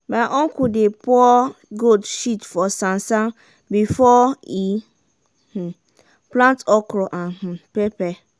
my uncle dey pour goat shit for sansan before e um plant okra and um pepper.